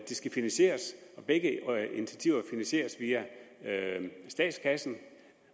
skal finansieres og begge initiativer finansieres via statskassen